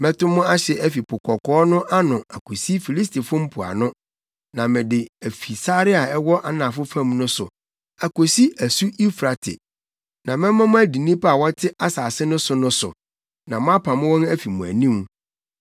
“Mɛto mo ahye afi Po Kɔkɔɔ no ano akosi Filistifo mpoano, na mede afi sare a ɛwɔ anafo fam no so akosi Asu Eufrate, na mɛma mo adi nnipa a wɔte asase no so no so, na moapam wɔn afi mo anim.